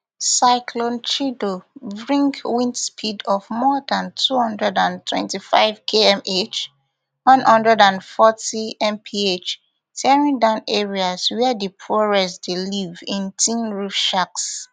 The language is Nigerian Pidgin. cyclone chido bring wind speed of more dan two hundred and twenty-fivekmh one hundred and fortymph tearing down areas wia di poorest dey live in tinroof shacks